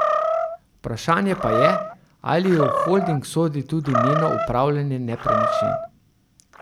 Vprašanje pa je, ali v holding sodi tudi njeno upravljanje nepremičnin.